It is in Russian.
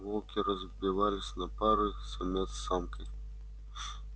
волки разбивались на пары самец с самкой